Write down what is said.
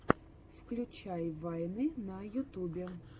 включай вайны на ютубе